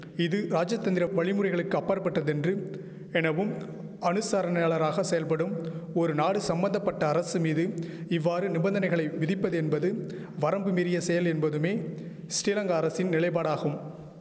இது ராஜதந்திர வழிமுறைகளுக்கு அப்பாற்பட்டதென்று எனவும் அனுசரணையாளராக செயற்படும் ஒரு நாடு சம்பந்த பட்ட அரசு மீது இவ்வாறு நிபந்தனைகளை விதிப்பதென்பது வரம்பு மீறிய செயல் என்பதுமே ஸ்ரீலங்கா அரசின் நிலைபாடாகும்